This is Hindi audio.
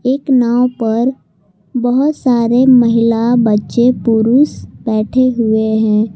एक नाव पर बहोत सारे महिला बच्चे पुरुष बैठे हुए है।